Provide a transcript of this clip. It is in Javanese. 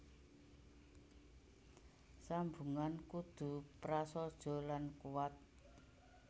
Sambungan kudu prasaja lan kuwat